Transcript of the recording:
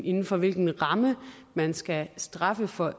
inden for hvilken ramme man skal straffe for